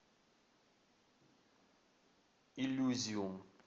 иллюзиум